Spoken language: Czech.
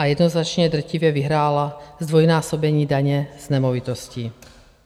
A jednoznačně drtivě vyhrálo zdvojnásobení daně z nemovitostí.